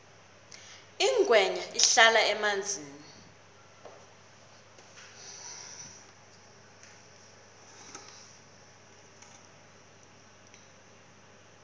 ingwenya ihlala emanzini